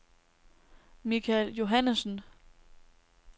Michael Johannesen